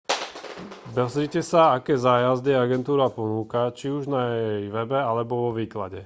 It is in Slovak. pozrite sa aké zájazdy agentúra ponúka či už na jej webe alebo vo výklade